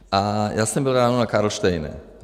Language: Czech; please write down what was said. A já jsem byl ráno na Karlštejně.